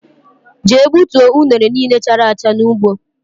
Jee gbutuo unere niile chárá acha n' ụgbọ!!